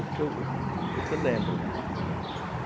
O que eu lembro, né? É.